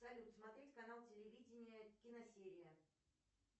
салют смотреть канал телевидения киносерия